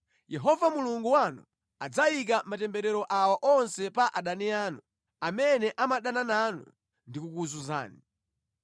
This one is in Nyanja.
Yehova Mulungu wanu adzayika matemberero awa onse pa adani anu amene amadana nanu ndi kukuzunzani.